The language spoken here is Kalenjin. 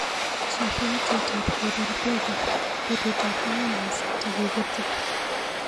Chap yautyetap kepir beko betutap kwang'wan kasit akiketyi.